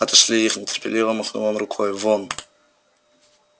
отошли их нетерпеливо махнул он рукой вон